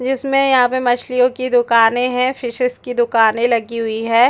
जिसमे यहाँ पे मछलियों की दुकाने है फिशेस की दुकानें लगी हुई है।